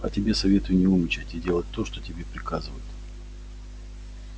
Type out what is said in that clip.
а тебе советую не умничать и делать то что тебе приказывают